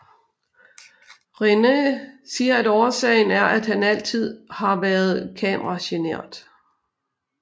Renai siger at årsagen er at han altid har været kamera genert